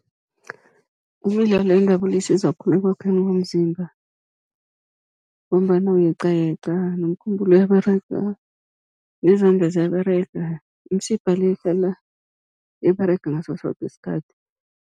Imidlalo yendabulo isiza khulu ekwakheni komzimba, ngombana uyeqayeqa nomkhumbulo uyaberega, nezandla ziyaberega, imisipha le ihlala iberega ngaso soke isikhathi.